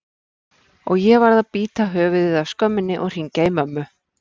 og ég varð að bíta höfuðið af skömminni og hringja í mömmu.